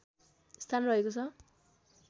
स्थान रहेको छ